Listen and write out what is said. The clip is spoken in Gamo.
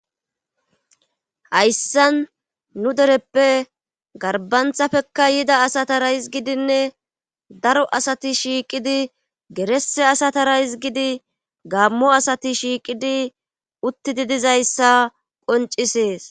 hayssan nu dereppe garbanthafekka yida asatara hizgidinne daro asati shiiqidi gerese asatara hizgidi gammo asati shiiqidi uttidi dizayssa qoncisees